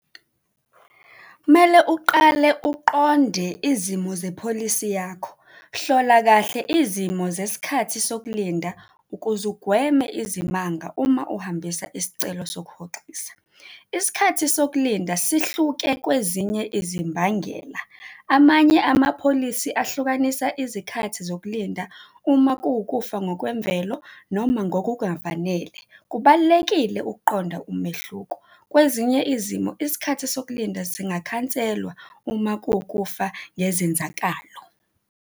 Kumele uqale uqonde izimo zepholisi yakho. Hlola kahle izimo zesikhathi sokulinda ukuze ugweme izimanga uma uhambisa isicelo sokuhoxisa. Isikhathi sokulinda sihluke kwezinye izimbangela. Amanye amapholisi ahlukanisa izikhathi zokulinda uma kuwukufa ngokwemvelo noma ngokungafanele, kubalulekile ukuqonda umehluko. Kwezinye izimo isikhathi sokulinda singakhanselwa uma kuwukufa ngezenzakalo.